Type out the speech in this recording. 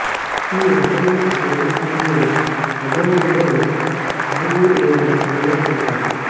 ఈ రకమైన వివాహాన్ని హజోంగులో హాంగు లేదా సంగా అంటారు